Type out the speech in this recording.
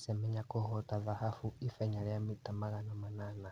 Semenya kũhota thahabu ihenya rĩa mita magana manana,